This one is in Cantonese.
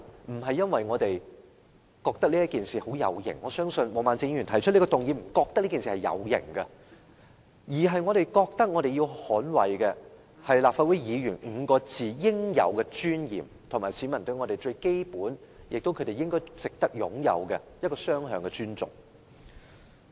並非因為這是一件很有型的事，我相信毛孟靜議員並非因為覺得有型而提出這項議案，而是因為我們覺得必須捍衞"立法會議員"這5個字的應有尊嚴，以及市民與我們之間最基本及值得擁有的雙向尊重。